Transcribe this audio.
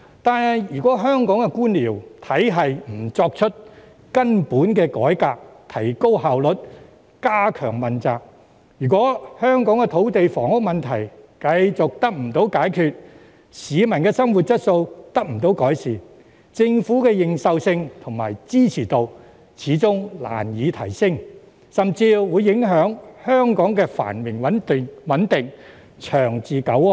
但是，如果不對香港的官僚體系進行根本改革，以提高效率及加強問責；又如果香港的土地房屋問題繼續無法得到解決，市民的生活質素未能得到改善，政府的認受性和支持度始終難以提升，甚至會影響香港的繁榮穩定、長治久安。